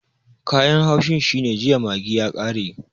Kayan haushin shine jiya maggi ya kare